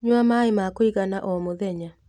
Nyua maĩma kũigana o mũthenya.